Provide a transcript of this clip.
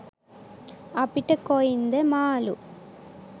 අපිට කොයින්ද මාළු.